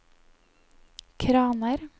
kraner